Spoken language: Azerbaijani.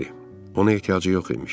Ona ehtiyacı yox imiş.